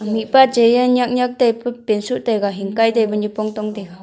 mihpa chai e nyak nyak taipa pant soh taiga hingkai taipa nyipong tong taiga.